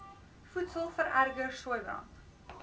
voedsel vererger sooibrand